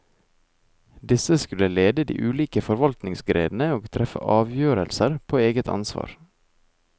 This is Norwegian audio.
Disse skulle lede de ulike forvaltningsgrenene og treffe avgjørelser på eget ansvar.